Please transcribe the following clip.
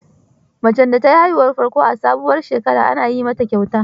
Macen da ta yi haihuwar farko a sabuwar shekara, ana yi mata kyauta.